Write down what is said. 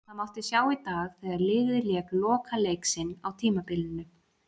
Það mátti sjá í dag þegar liðið lék lokaleik sinn á tímabilinu.